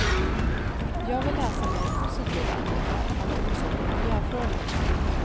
Jag vill läsa mer positiva artiklar om till exempel miljöfrågor.